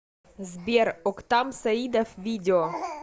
сбер октам саидов видео